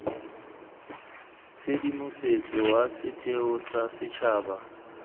tshedimosetso wa setheo sa setšhaba